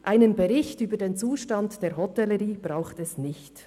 Einen Bericht über den Zustand der Hotellerie braucht es nicht.